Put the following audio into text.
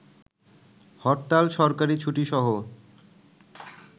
হরতাল, সরকারী ছুটি সহ